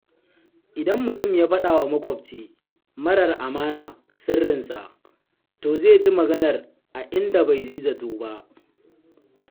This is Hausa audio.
Idan mutum ya faɗawa maƙwabci marar amana sirrinsa, to zai ji maganar a inda bai yi zato ba.